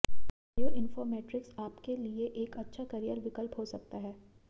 bio informatics आपके लिए एक अच्छा करियर विकल्प हो सकता है